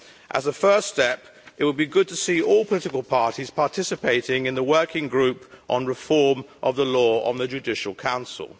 As a first step, it would be good to see all political parties participating in the working group on reform of the law on the judicial council.